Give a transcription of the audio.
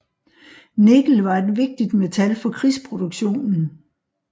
Nikkel var et vigtigt metal for krigsproduktionen